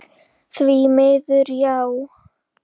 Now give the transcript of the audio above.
Því miður, já.